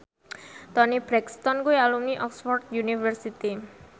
Toni Brexton kuwi alumni Oxford university